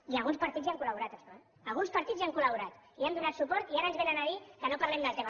i alguns partits hi han col·laborat en això eh alguns partits hi han col·laborat hi han donat suport i ara ens vénen a dir que no parlem del tema